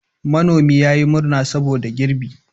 Manomin ya yi murna saboda girbi.